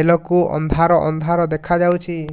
ବେଳକୁ ଅନ୍ଧାର ଅନ୍ଧାର ଦେଖା ଯାଉଛି